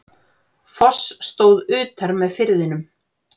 Foss stóð utar með firðinum.